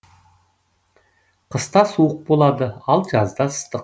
қыста суық болады ал жазда ыстық